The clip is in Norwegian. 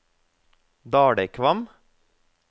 Dalekvam